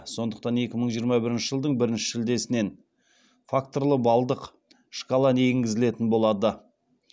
сондықтан екі мың жиырма бірінші жылдың бірінші шілдесінен факторлы балдық шкаланы енгізілетін болады